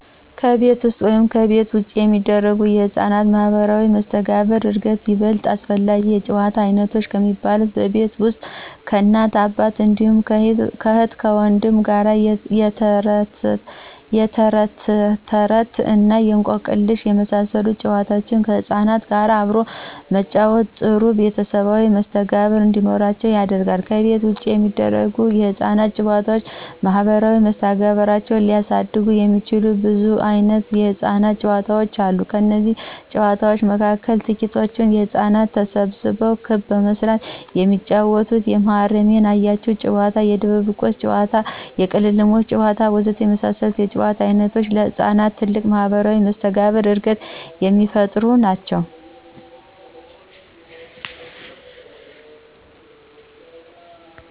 ከቤት ውስጥ ወይም ከቤት ውጭ የሚደረጉ ለሕፃናት ማህበራዊ መስተጋብር ዕድገት ይበልጥ አስፈላጊ የጨዋታ ዓይነቶች ከሚባሉት በቤት ውስጥ ከእናትና አባት እንዲሁም ከእህትና ወንድም ጋር የተረትተረት እና እንቆቅልሽ የመሳሰሉ ጨዋታዎችን ከሕፃናት ጋር አብሮ በመጫወት ጥሩ ቤተሰባዊ መስተጋብር እንዲኖራቸው ያደርጋል፤ ከቤት ውጭ የሚደረጉ የሕፃናት ጨዋታዎች ማህበራዊ መስተጋብራቸውን ሊያሳድጉ የሚችሉ ብዙ ዓይነት የሕፃናት ጨዋታዎች አሉ። ከነዚህም ጨዋታዎች መካከል ትቂቶቹ ሕፃናቶች ተሰብስበው ክብ በመስራት የሚጫወቱት የመሃረሜን ያያችሁ ጨዋታ፣ የድብብቆሽ ጨዋታ፣ የቅልሞሽ ጨዋታ ወዘተ የመሳሰሉት የጨዋታ ዓይነቶች ለሕፃናት ትልቅ የማህበራዊ መስተጋብር ዕድገትን የሚፈጥሩ ናቸው።